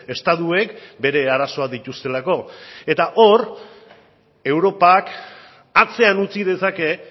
estatuek bere arazoak dituztelako eta hor europak atzean utzi dezake